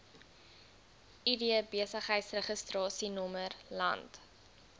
id besigheidsregistrasienommer land